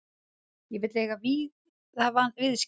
Ég vil eiga víða viðskipti.